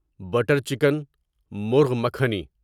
butter chicken murgh makhani